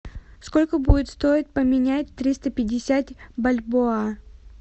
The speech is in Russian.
сколько будет стоить поменять триста пятьдесят бальбоа